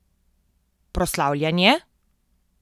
Proslavljanje?